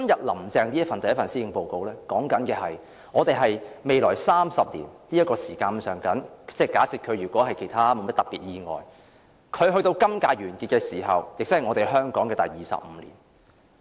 "林鄭"的第一份施政報告提到，我們未來約有30年，假設其間她沒有發生特別事故，能夠完成她今屆任期，她離任時會是香港回歸的第二十五年。